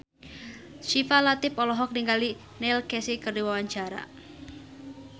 Syifa Latief olohok ningali Neil Casey keur diwawancara